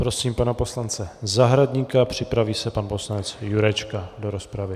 Prosím pana poslance Zahradníka, připraví se pan poslanec Jurečka do rozpravy.